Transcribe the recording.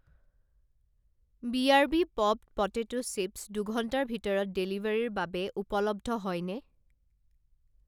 BRB popped potato chips দুঘণ্টাৰ ভিতৰত ডেলিভাৰীৰ বাবে উপলব্ধ হয়নে?